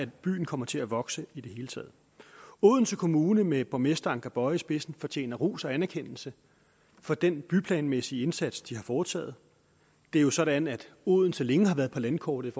byen kommer til at vokse i det hele taget odense kommune med borgmester anker boye i spidsen fortjener ros og anerkendelse for den byplanmæssige indsats de har foretaget det er jo sådan at odense længe har været på landkortet